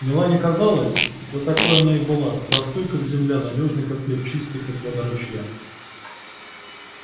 мелани казалась да такой она и была простой как земля надёжной как хлеб чистой как вода ручья